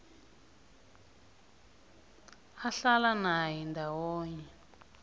ahlala naye ndawonye